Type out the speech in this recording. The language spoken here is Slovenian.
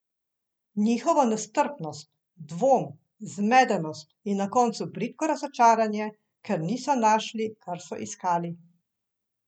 Njihovo nestrpnost, dvom, zmedenost in na koncu bridko razočaranje, ker niso našli, kar so iskali.